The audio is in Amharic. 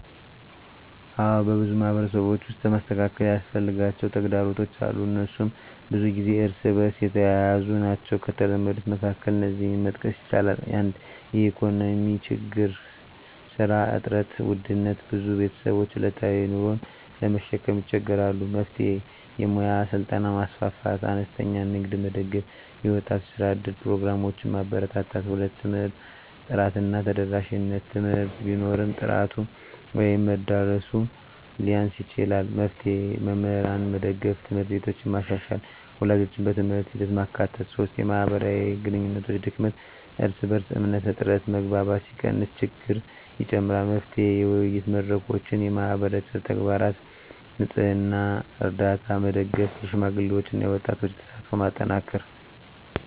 አዎን፣ በብዙ ማህበረሰቦች ውስጥ መስተካከል ያስፈልጋቸው ተግዳሮቶች አሉ፤ እነሱም ብዙ ጊዜ እርስ በእርስ የተያያዙ ናቸው። ከተለመዱት መካከል እነዚህን መጥቀስ ይቻላል፦ 1) የኢኮኖሚ ችግኝ (ስራ እጥረት፣ ውድነት): ብዙ ቤተሰቦች ዕለታዊ ኑሮን ለመሸከም ይቸገራሉ። መፍትሄ: የሙያ ስልጠና ማስፋፋት፣ አነስተኛ ንግድን መደገፍ፣ የወጣቶች የስራ እድል ፕሮግራሞችን ማበርታት። 2) የትምህርት ጥራት እና ተደራሽነት: ትምህርት ቢኖርም ጥራቱ ወይም መድረሱ ሊያንስ ይችላል። መፍትሄ: መምህራንን መደገፍ፣ ት/ቤቶችን መሻሻል፣ ወላጆችን በትምህርት ሂደት ማካተት። 3) የማህበራዊ ግንኙነት ድክመት (እርስ በእርስ እምነት እጥረት): መግባባት ሲቀንስ ችግኝ ይጨምራል። መፍትሄ: የውይይት መድረኮች፣ የማህበረሰብ ተግባራት (ንፅህና፣ ርዳታ) መደገፍ፣ የሽማግሌዎችና የወጣቶች ተሳትፎን ማጠናከር።